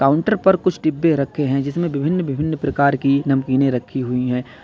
Counter पर कुछ डिब्बे रखे हैं जिसमें विभिन्न विभिन्न प्रकार की नमकीनें रखी हुई हैं।